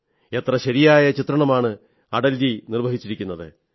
എത്ര ശരിയായ ചിത്രണമാണ് അടൽജി നിർവ്വഹിച്ചത്